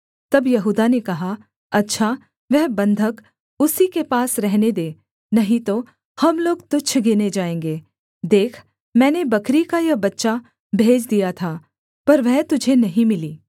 तब यहूदा ने कहा अच्छा वह बन्धक उसी के पास रहने दे नहीं तो हम लोग तुच्छ गिने जाएँगे देख मैंने बकरी का यह बच्चा भेज दिया था पर वह तुझे नहीं मिली